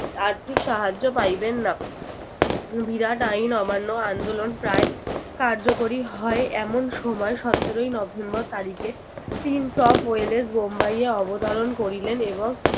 আর্থিক সাহায্য পাইবেন না। বিরাট আইন অমান্য আন্দোলন প্রায় কার্যকরী হয় এমন সময় সতেরোই নভেম্বর তারিখে বোম্বাই এ অবতারণ করিলেন এবং